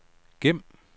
gem